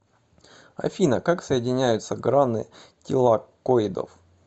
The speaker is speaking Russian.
афина как соединяются граны тилакоидов